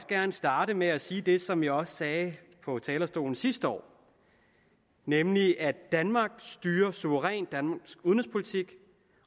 gerne starte med at sige det som jeg også sagde på talerstolen sidste år nemlig at danmark styrer suverænt danmarks udenrigspolitik